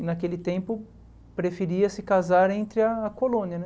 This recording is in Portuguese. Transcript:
E naquele tempo preferia se casar entre a colônia, né?